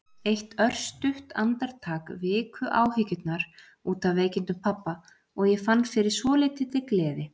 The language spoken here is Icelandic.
Eitt örstutt andartak viku áhyggjurnar út af veikindum pabba og ég fann fyrir svolítilli gleði.